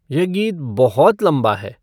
यह गीत बहुत लम्बा है